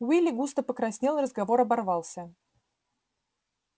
уилли густо покраснел и разговор оборвался